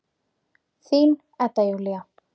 Þín Edda Júlía.